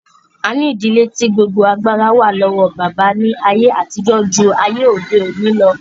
A ní ìdílé tí gbogbo agbára wà lọ́wọ́ bàbá ní àyè àtijọ́ ju ayé òde òní lọ